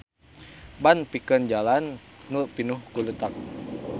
Ban pikeun jalan nu pinuh ku leutak.